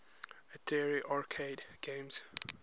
atari arcade games